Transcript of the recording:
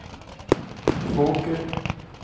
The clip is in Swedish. Fåker